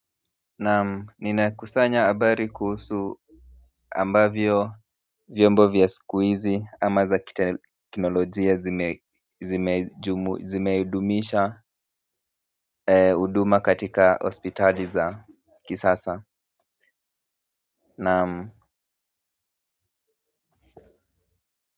Naam ninakusanya habari kuhusu ambavyo vyombo vya siku hizi ama za kiteknolojia zimedumisha huduma katika hospitaliti za kisasa Naam.